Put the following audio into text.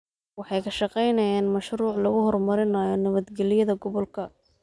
Waxay ka shaqaynayaan mashruuc lagu horumarinayo nabadgelyada gobolka.